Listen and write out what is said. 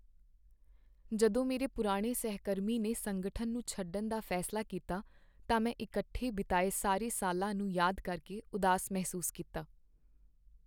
ਜਦੋਂ ਮੇਰੇ ਪੁਰਾਣੇ ਸਹਿਕਰਮੀ ਨੇ ਸੰਗਠਨ ਨੂੰ ਛੱਡਣ ਦਾ ਫੈਸਲਾ ਕੀਤਾ, ਤਾਂ ਮੈਂ ਇਕੱਠੇ ਬਿਤਾਏ ਸਾਰੇ ਸਾਲਾਂ ਨੂੰ ਯਾਦ ਕਰਕੇ ਉਦਾਸ ਮਹਿਸੂਸ ਕੀਤਾ।